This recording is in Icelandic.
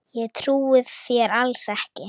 Ég trúi þér alls ekki!